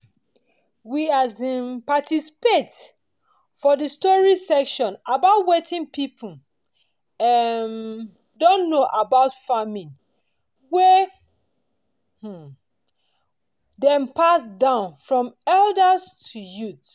we um participate for the story session about watin people um don know about farming wey um dem pass down form elders to youth